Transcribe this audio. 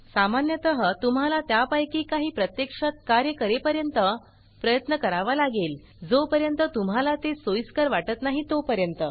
सामान्यतः तुम्हाला त्यापैकी काही प्रत्यक्षात कार्य करेपर्यंत प्रयत्न करावा लागेल जो पर्यंत तुम्हाला ते सोइस्कर वाटत नाही तोपर्यंत